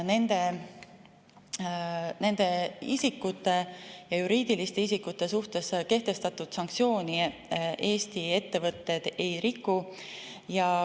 Nende isikute ja juriidiliste isikute suhtes kehtestatud sanktsioone Eesti ettevõtted ei riku.